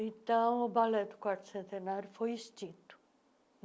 Então, o Ballet do Quarto Centenário foi extinto.